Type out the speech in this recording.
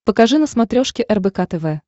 покажи на смотрешке рбк тв